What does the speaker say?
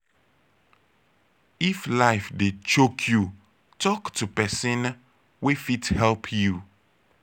if life dey choke yu talk to pesin wey fit help yu